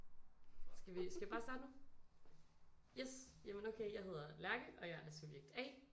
Skal vi skal vi bare starte nu yes jamen okay jeg hedder Lærke og jeg er subjekt A